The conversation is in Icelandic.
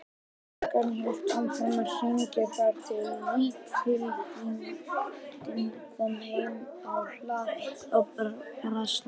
Klukkan hélt áfram að hringja þar til líkfylgdin kom heim á hlað, þá brast hún.